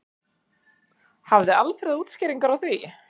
Hafði Alfreð útskýringar á því?